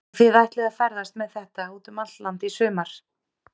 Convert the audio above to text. Og þið ætlið að ferðast með þetta út um allt land í sumar?